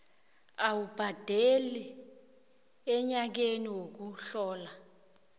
awubhadele enyakeni wokuhlola